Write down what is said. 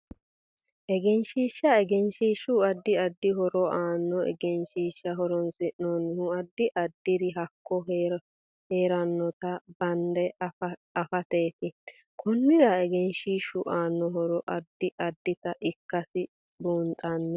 egenshiisha egenshiishu addi addi horo aannoho egenshiisha horoonsinanihu addi addiri hakko heeranota bande afateeeti konnira egenshiishu aano horo addi addita ikkasi buunxaani